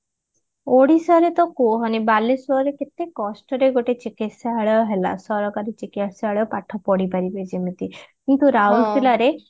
ଓଡିଶାରେ ତ କୁହନି ବାଲେଶ୍ବରରେ ତ କେତେ କଷ୍ଟରେ ଗୋଟେ ଚିକିତ୍ସାଳୟ ହେଲା ସରକାରୀ ଚିକିତ୍ସାଳୟ ପାଠ ପଢିପାରିବେ ଯେମିତି କିନ୍ତୁ ରାଉରକେଲା ରେ